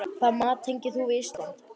Hvaða mat tengir þú við Ísland?